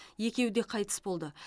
екеуі де қайтыс болды